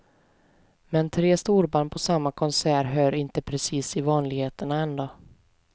Men tre storband på samma konsert hör inte precis till vanligheterna ändå.